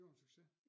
Det var en succes